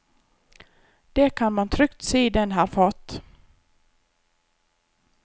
Det kan man trygt si den har fått.